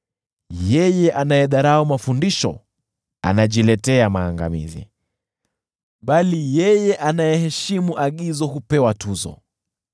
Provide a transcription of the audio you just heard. Yeye anayedharau mafundisho anajiletea maangamizi, bali yeye anayeheshimu agizo hupewa tuzo.